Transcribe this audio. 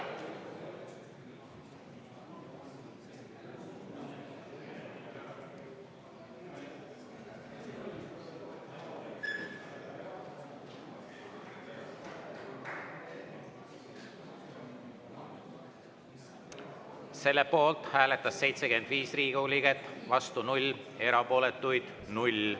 Selle poolt hääletas 75 Riigikogu liiget, vastu 0, erapooletuid 0.